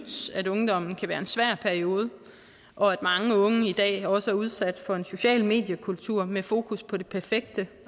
at ungdommen kan være en svær periode og at mange unge i dag også er udsat for en social mediekultur med fokus på det perfekte